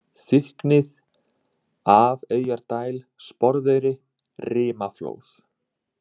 Þykknið, Afeyjardæl, Sporðeyri, Rimaflóð